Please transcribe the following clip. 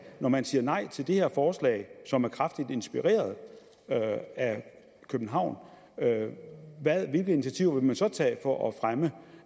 når man siger nej til det her forslag som er kraftigt inspireret af københavn hvilke initiativer vil man så tage for at fremme